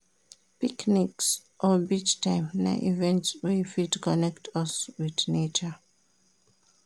Picnics or beach time na events wey fit connect us with nature